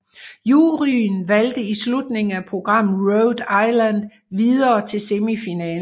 Juryen valgte i slutningen af programmet Rhode Island videre til semifinalen